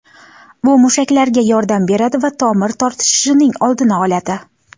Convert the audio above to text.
Bu mushaklarga yordam beradi va tomir tortishishining oldini oladi.